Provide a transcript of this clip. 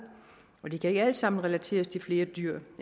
og det kan ikke alt sammen relateres til flere dyr